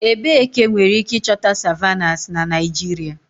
Ebee ka enwere ike ịchọta savannahs na Naịjirịa?